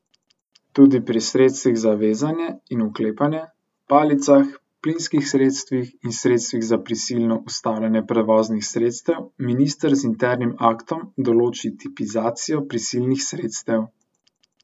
Tudi pri sredstvih za vezanje in uklepanje, palicah, plinskih sredstvih in sredstvih za prisilno ustavljanje prevoznih sredstev minister z internim aktom določi tipizacijo prisilnih sredstev.